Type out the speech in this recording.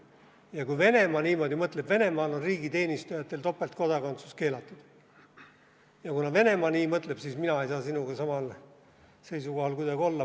Ja kui Venemaa niimoodi mõtleb – Venemaal on riigiteenistujatel topeltkodakondsus keelatud –, siis mina ei saa sinuga kuidagi samal seisukohal olla.